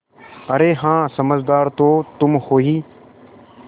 अरे हाँ समझदार तो तुम हो ही